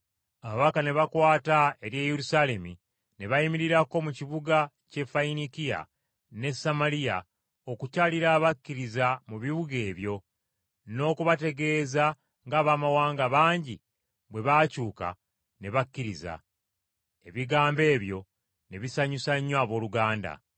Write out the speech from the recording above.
Ababaka ne bakwata ery’e Yerusaalemi, ne bayimirirako mu kibuga ky’e Fayiniikiya n’e Samaliya okukyalira abakkiriza mu bibuga ebyo n’okubategeeza ng’Abamawanga bangi bwe baakyuka ne bakkiriza. Ebigambo ebyo ne bisanyusa nnyo abooluganda.